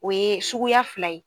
O ye suguya fila ye.